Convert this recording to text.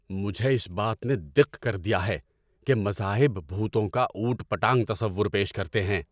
مجھے اس بات نے دق کر دیا ہے کہ مذاہب بھوتوں کا اوٹ پٹانگ تصور پیش کرتے ہیں۔